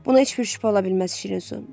Buna heç bir şübhə ola bilməz, şirin su.